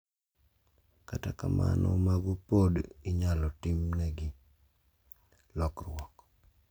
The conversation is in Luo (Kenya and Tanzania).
kata kamano mago pod inyalo timnegi lokruok.